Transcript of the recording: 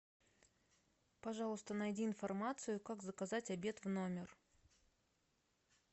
пожалуйста найди информацию как заказать обед в номер